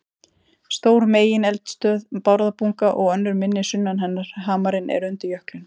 Stór megineldstöð, Bárðarbunga, og önnur minni sunnan hennar, Hamarinn, eru undir jöklinum.